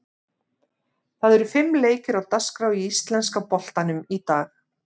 Það eru fimm leikir á dagskrá í íslenska boltanum í dag.